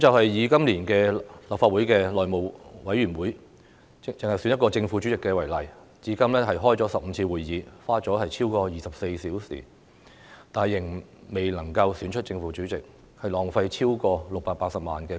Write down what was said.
以今年立法會內務委員會選舉正副主席事件為例，至今已舉行15次會議，花了超過24小時，仍未能選出正副主席，浪費公帑超過680萬元。